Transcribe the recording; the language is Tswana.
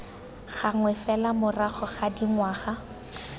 gangwe fela morago ga dingwaga